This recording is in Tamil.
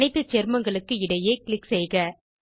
அனைத்து சேர்மங்களுக்கு இடையே க்ளிக் செய்க